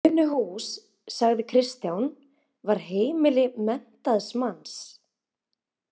Unuhús, sagði Kristján, var heimili menntaðs manns.